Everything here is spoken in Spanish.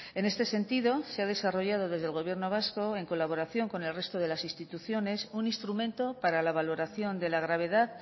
en este sentido se ha desarrollado desde el gobierno vasco en colaboración con el resto de las instituciones un instrumento para la valoración de la gravedad